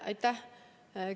Aitäh!